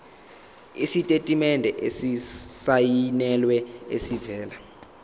isitatimende esisayinelwe esivela